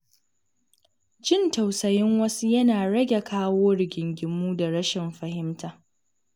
Jin tausayin wasu yana rage kawo rigingimu da rashin fahimta.